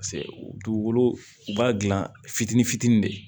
Paseke dugukolo u b'a dilan fitinin fitinin de ye